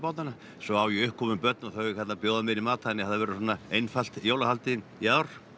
svo á ég uppkomin börn og þau ætla að bjóða mér í mat þannig að það verður svona einfalt jólahaldið í ár